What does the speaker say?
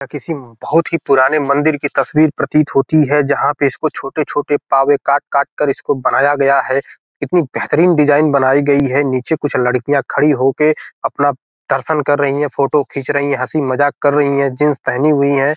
यह किसी बहुत ही पुराने मंदिर की तस्वीर प्रतीत होती है जहां पे इसको छोटे-छोटे पावे काट-काट कर इसको बनाया गया है इतनी बेहतरीन डिजाइन बनाई गई है नीचे कुछ लड़कियां खड़ी होकर अपना दर्शन कर रही है फोटो खींच रही है हसी-मजाक कर रही है जींस पहनी हुई है।